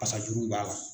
Fasajuru b'a la